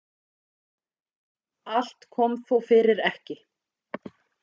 Allt kom þó fyrir ekki.